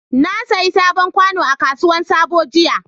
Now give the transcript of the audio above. Na sayi sabon kwano a kasuwar sabo jiya.